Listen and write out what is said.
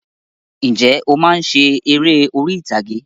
Ǹjẹ́ o máa ń ṣe eré orí ìtàgé?